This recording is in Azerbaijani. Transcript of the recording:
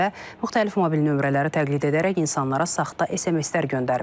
Bundan əlavə müxtəlif mobil nömrələri təqlid edərək insanlara saxta SMS-lər göndərib.